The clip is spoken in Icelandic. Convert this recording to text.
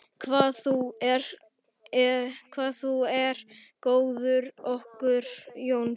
Hvað þú er góður kokkur, Jónsi.